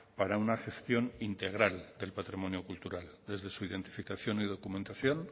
para una gestión integral del patrimonio cultural desde su identificación y documentación